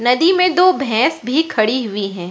नदी में दो भैंस भी खड़ी हुई है।